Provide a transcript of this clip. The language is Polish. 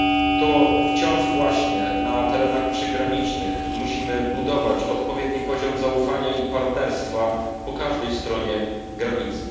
To wciąż właśnie na terenach przygranicznych musimy budować odpowiedni poziom zaufania i partnerstwa po każdej stronie granicy.